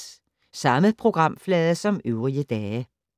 Samme programflade som øvrige dage